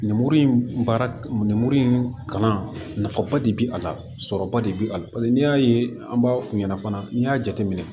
Ninmuru in baara nin muru in kalan nafaba de bɛ a la sɔrɔba de bɛ a la paseke n'i y'a ye an b'a f'u ɲɛna fana n'i y'a jateminɛ